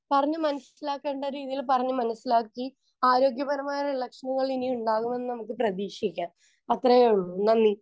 Speaker 1 പറഞ്ഞ് മനസ്സിലാക്കണ്ട രീതിയിൽ പറഞ്ഞു മനസ്സിലാക്കി ആരോഗ്യപരമായ ഇലക്ഷനുകളിനി ഉണ്ടാകുമെന്ന് നമുക്ക് പ്രതീക്ഷിക്കാം. അത്രയേയുള്ളൂ നന്ദി.